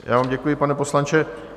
Já vám děkuji, pane poslanče.